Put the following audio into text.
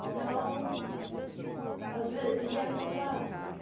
Então... às ve E é gozado.